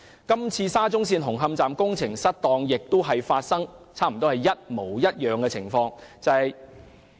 今次沙中線紅磡站工程失當，也發生了差不多一模一樣的情況。